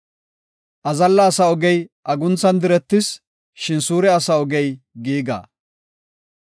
Azalla asa ogey agunthan diretis; shin suure asa ogey giiga.